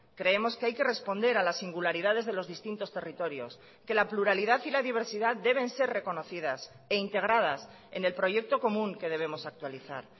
creemos que hay que responder a las singularidades de los distintos territorios que la pluralidad y la diversidad deben ser reconocidas e integradas en el proyecto común que debemos actualizar